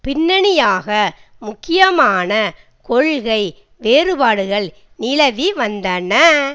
பிண்ணணியாக முக்கியமான கொள்கை வேறுபாடுகள் நிலவி வந்தன